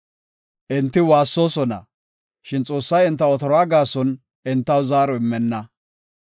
Enti waassoosona; shin Xoossay enta otoruwa gaason, entaw zaaro immenna.